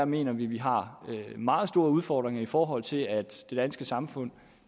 mener at vi har meget store udfordringer i forhold til at det danske samfund